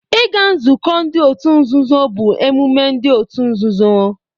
Ịga nzukọ ndị otu nzuzo bụ emume ndị otu nzuzo